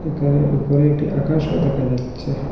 এখানে উপরে একটি আকাশও দেখা যাচ্ছে।